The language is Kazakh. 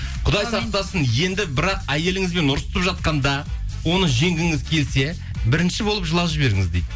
құдай сақтасын енді бірақ әйеліңізбен ұрысып жатқанда оны жеңгіңіз келсе бірінші болып жылап жіберіңіз дейді